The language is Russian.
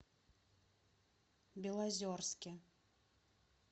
белозерске